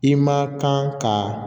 I ma kan ka